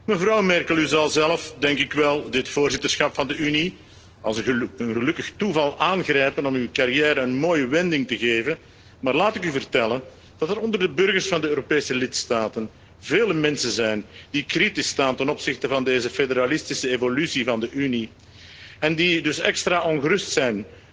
Mevrouw Merkel, u zal zelf denk ik wel dit voorzitterschap van de Unie als een gelukkig toeval aangrijpen om uw carrière een mooie wending te geven, maar laat ik u vertellen dat er onder de burgers van de Europese lidstaten vele mensen zijn die kritisch staan ten opzichte van deze federalistische evolutie van de Unie en die dus extra ongerust zijn